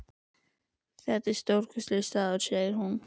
Þetta er stórkostlegur staður, segir hún.